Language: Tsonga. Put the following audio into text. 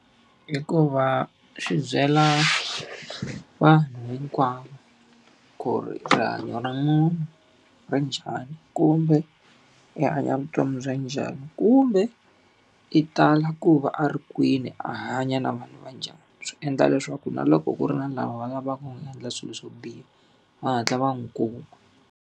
Hikuva swi byela vanhu hinkwavo ku ri hanyo ra munhu ri njhani, kumbe i hanya vutomi bya njhani, kumbe i tala ku va a ri kwini a hanya na vanhu va njhani. Swi endla leswaku na loko ku ri na lava va lavaka ku n'wi endla swilo swo biha, va hatla va n'wi kuma.